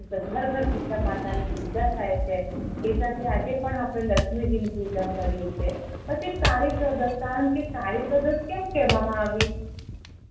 ઘર ઘર સીતા માતા ની પૂજા થાય છે એજ રીતે આપણે આજે પણ લક્ષ્મીજી ની પૂજા કરીએ છે પછી કાળી ચૌદશ કારણ કે કાળી ચૌદશ કેમ કેહવા મા આવી